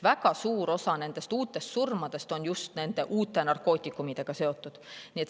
Väga suur osa surmadest on just nende uute narkootikumidega seotud.